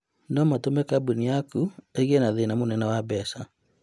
No matũme kambuni yaku ĩgĩe na thĩna mũnene wa mbeca.